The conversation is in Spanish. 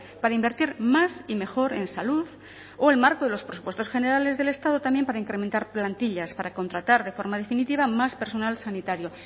para invertir más y mejor en salud o el marco de los presupuestos generales del estado también para incrementar plantillas para contratar de forma definitiva más personal sanitario